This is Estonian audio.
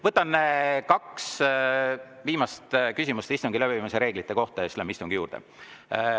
Võtan kaks viimast küsimust istungi läbiviimise reeglite kohta ja siis läheme istungi juurde.